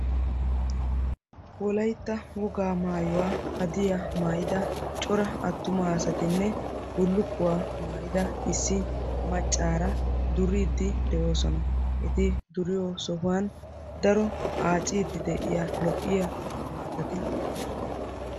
Wolaytta wogaa maayuwa maayidda cora asattinne bullukkuwaa maayida cora maca asatti beettosonna.